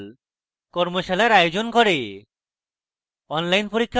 কর্মশালার আয়োজন করে